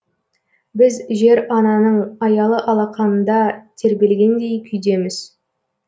біз жер ананың аялы алақанында тербелгендей күйдеміз